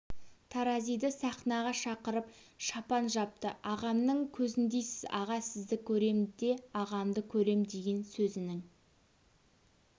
таразиды сахнаға шақырып шапан жапты ағамның көзіндейсіз аға сізді көрем де ағамды көрем деген сөзінің